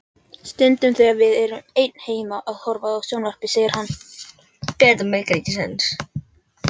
Stundum þegar við erum ein heima að horfa á sjónvarpið segir hann